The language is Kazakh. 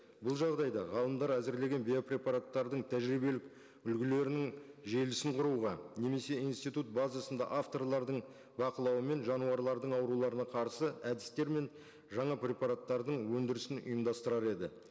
бұл жағдайда ғалымдар әзірлеген биопрепараттардың тәжірибелік үлгілерінің желісін құруға немесе институт базасында авторлардың бақылауымен жануарлардың ауруларына қарсы әдістер мен жаңа препараттардың өндірісін ұйымдастырар еді